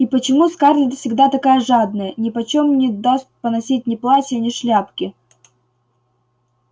и почему скарлетт всегда такая жадная нипочём не даст поносить ни платья ни шляпки